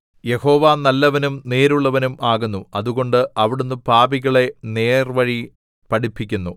യഹോവ നല്ലവനും നേരുള്ളവനും ആകുന്നു അതുകൊണ്ട് അവിടുന്ന് പാപികളെ നേർവഴി പഠിപ്പിക്കുന്നു